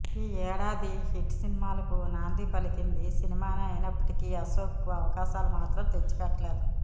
ఈ ఏడాది హిట్ సినిమాలకు నాంది పలికింది ఈ సినిమానే అయినప్పటికీ అశోక్ కు అవకాశాలు మాత్రం తెచ్చిపెట్టలేదు